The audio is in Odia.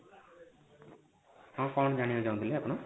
ହଁ କଣ ଯାଇବାକୁ ଚାହୁଁଥିଲେ ଆପଣ?